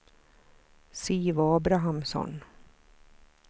Siv Abrahamsson